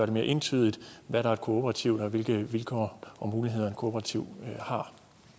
det mere entydigt hvad der er kooperativt og hvilke vilkår og muligheder kooperativer har